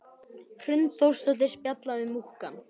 Hrund Þórsdóttir: Spjalla við múkkann?